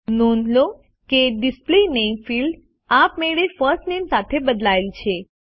નોંધ લો કે ડિસ્પ્લે નામે ફિલ્ડ આપમેળે ફર્સ્ટ નામે સાથે બદલાયેલ છે